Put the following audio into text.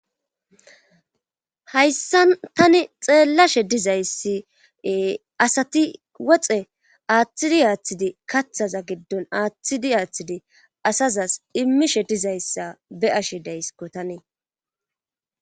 Hayssan tani xeellashe dizayssi asati woxe aaththidi aaththidi kaththaza giddon aaththidi aaththidi asazas immishe dizayssa be ashe daysiko tanee.